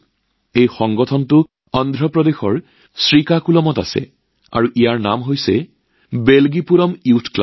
এই প্ৰতিষ্ঠানটো অন্ধ্ৰ প্ৰদেশৰ শ্ৰীকাকুলামত আৰু ইয়াৰ নাম বেলজীপুৰম যুৱ ক্লাব